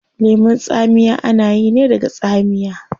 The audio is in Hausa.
Lemun tsamiya ana yi ne daga tsamiya